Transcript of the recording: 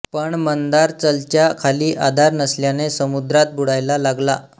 पण मंदारचलच्या खाली आधार नसल्याने समुद्रात बुडायला लागला